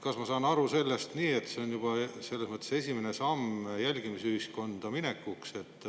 Kas ma saan õigesti aru, et see on juba selles mõttes esimene samm jälgimisühiskonda minekuks?